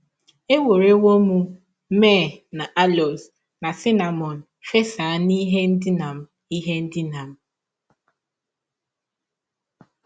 Ewerewọ m myrrh na aloes na cinnamọn fesa ihe ndina m ihe ndina m. ”